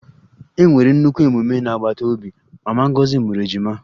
E nwere nnukwu mmemme n'agbata obi, mama Ngozi mụrụ ejima